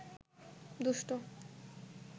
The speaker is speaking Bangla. দুষ্টু